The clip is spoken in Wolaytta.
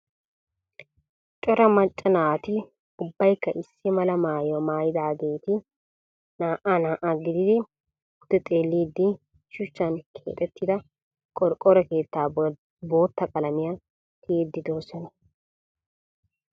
Cora maca naati ubbaykka issi mala maayuwa maayidaageeti naa"a naa"a gididi pude xeelliiddi shuchchan keexettida qorqoro keettaa bootta qalamiya tiyidi de'oosona.